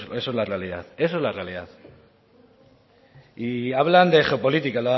eso es la realidad eso es la realidad y hablan de geopolítica